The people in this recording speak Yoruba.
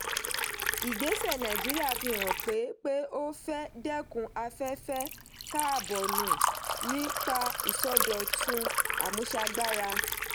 ìgbésẹ̀ nàìjíríà fi hàn pé pé ó fẹ́ dẹ́kun afẹ́fẹ́ kábọ́ọ̀nù nípa ìsọdọ̀tun àmúṣagbára.